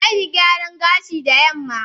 Zan yi gyaran gashi da yamma